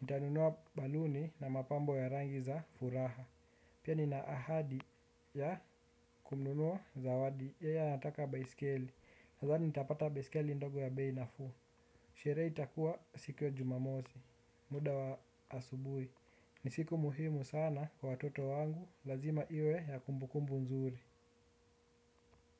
Nitanunua baluni na mapambo ya rangi za furaha. Pia ninaahadi ya kumnunua zawadi. Yeye anataka baiskeli. Nathani nitapata baiskeli ndogo ya bei nafuu. Sheree itakua siku ya jumamosi. Muda wa asubui. Ni siku muhimu sana kwa watoto wangu. Lazima iwe ya kumbukumbu nzuri.